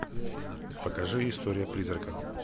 покажи история призрака